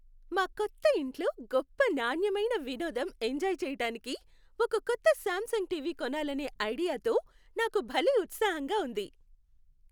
మా కొత్త ఇంట్లో గొప్ప నాణ్యమైన వినోదం ఎంజాయ్ చెయ్యటానికి ఒక కొత్త శామ్సంగ్ టీవీ కొనాలనే ఐడియాతో నాకు భలే ఉత్సాహంగా ఉంది.